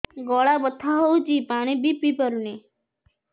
ଗଳା ବଥା ହଉଚି ପାଣି ବି ପିଇ ପାରୁନି